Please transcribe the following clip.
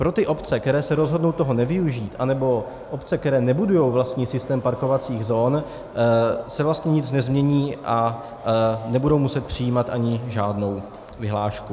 Pro ty obce, které se rozhodnou toho nevyužít, nebo obce, které nebudují vlastní systém parkovacích zón, se vlastně nic nezmění a nebudou muset přijímat ani žádnou vyhlášku.